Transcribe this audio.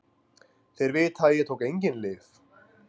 Þeir vita að ég tók engin lyf.